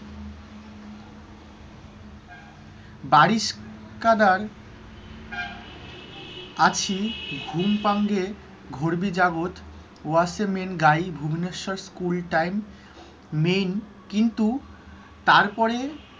বারিশ কাদার আছি, ঘুম পাঙ্গে ঘরবী জাগত ভুবনেশ্বর স্কুলটাইম main কিন্তু তারপরে,